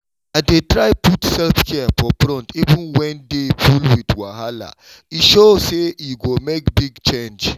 i dey try put self-care for front even when day full with wahala—e sure say e go make big change